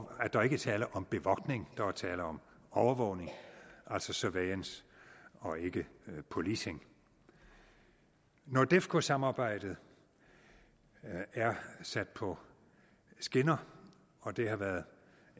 at der ikke er tale om bevogtning der er tale om overvågning altså surveillance og ikke policing nordefco samarbejdet er sat på skinner og det har været